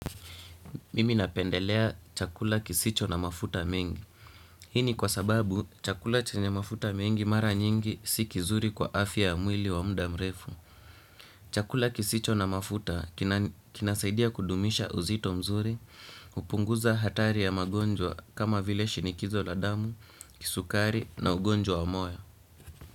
Mimi napendelea chakula kisicho na mafuta mengi. Hii ni kwa sababu chakula chenye mafuta mengi mara nyingi si kizuri kwa afya ya mwili wa muda mrefu. Chakula kisicho na mafuta kinasaidia kudumisha uzito mzuri hupunguza hatari ya magonjwa kama vile shinikizo la damu, sukari na magonjwa wa moyo.